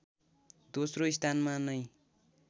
दोस्रो स्थानमा नै